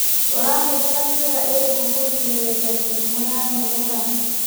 ũrahũthĩra njĩra irikũ kũgirĩrĩria mĩrimũ ya mĩmera.